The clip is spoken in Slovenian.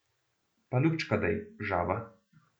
Pa lupčka dej, žaba!